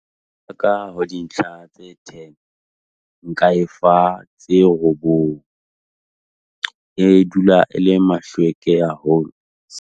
Ka ho dintlha tse ten, nka e fa tse robong, e dula e le mahlweke haholo.